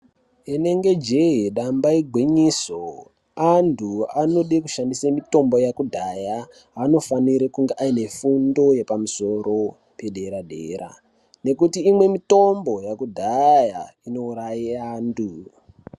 Inenge jee damba igwinyiso, antu anode kushandise mitombo yakudhaya anofanire kunge aine fundo yepamusoro pedera--dera, nekuti imwe mitombo yakudhaya inouraye antu.